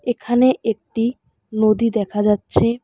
এখানে একটি নদী দেখা যাচ্ছে।